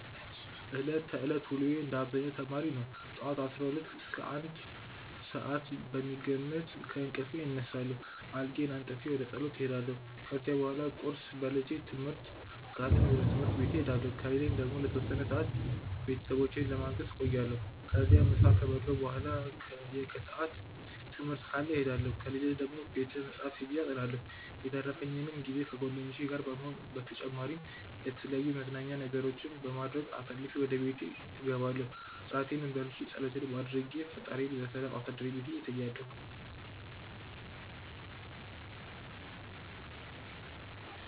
ዕለት ተዕለት ውሎዬ እንደ አብዛኛው ተማሪ ነው። ጠዋት 12 እስከ 1 ሰዓት በሚገመት ከእንቅልፌ እነሳለሁ፣ አልጋዬን አንጥፌ ወደ ፀሎቴ እሄዳለሁ። ከዚያ በኋላ ቁርስ በልቼ ትምህርት ካለኝ ወደ ትምህርት ቤቴ እሄዳለሁ ከሌለኝ ደግሞ ለተወሰነ ሰዓት ቤተሰቦቼን ለማገዝ እቆያለሁ። ከዚያም ምሳ ከበላሁ በኋላ የከሰዓት ትምህርት ካለ እሄዳለሁ፣ ከሌለ ደግሞ ቤተ መፅሐፍት ሄጄ አጠናለሁ። የተረፈኝንም ጊዜ ከጓደኞቼ ጋር በመሆን በተጨማሪም የተለያዩ የመዝናኛ ነገሮችን በማድረግ አሳልፌ ወደ ቤቴ እገባለው እራቴንም በልቼ ፀሎቴንም አድርጌ ፈጣሪዬ በሰላም አሳድረኝ ብዬ እተኛለሁ።